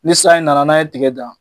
Ni sanji nana n'a ye tigɛ dan